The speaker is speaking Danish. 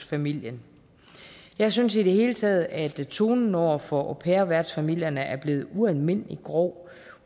familien jeg synes i det hele taget at tonen over for au pair værtsfamilierne er blevet ualmindelig grov